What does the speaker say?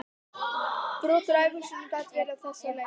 Brot úr ævisögunni gat verið á þessa leið